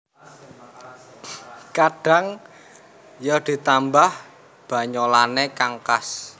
Kadhang ya ditambah banyolanne kang khas